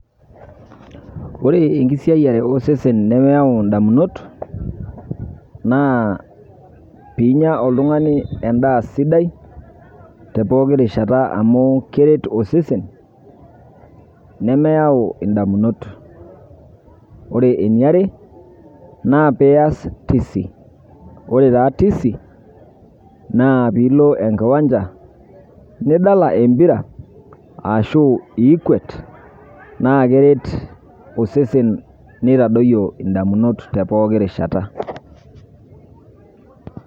Ore enkisiayare osesen nemeyau ndamunot naa piinya oltung'ani endaa sidai te pooki rishata amu keret osesen nemeyau indamunot. Ore eniare naa pias tisi, ore taa tisi naa piilo enkiwanja nidala empira ashu piikwet naake eret osesen nitadoyio ndamunot te pooki rishata.